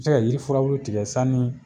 Bi se ka yiri furabulu tigɛ sanni